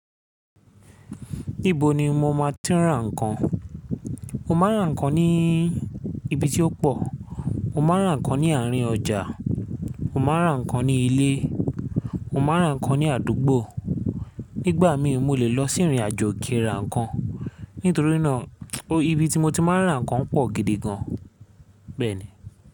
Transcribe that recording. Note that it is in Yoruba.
Níbo ni mo má ti ń rà ǹkan? Mo ma ń rà ǹkan ní ibi tí ó pọ̀, mo ma ń rà ǹkan ní àárín ọjà, mo ma ń rà ǹkan ní ilé, mo ma ń rà ǹkan ní àdúgbò. Nígbà mí mo lè lọ sí ìrìnàjò kí rà ǹkan. Nítorí náà, ibi tí mo ti máa ń rà ǹkan pọ̀ gidi gan. Bẹ́ẹ̀ni.